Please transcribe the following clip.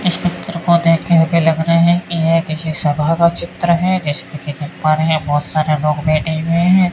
इस पिक्चर को देख के हमें लग रहा है कि ये किसी सभा का चित्र है जिसमे की पा रहे हैं बहोत सारे लोग बैठे हुए हैं।